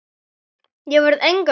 Ég verð enga stund!